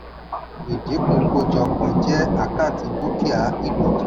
ìdínkù kójọpọ̀ jẹ́ àkáǹtì dúkìá ìlòdì.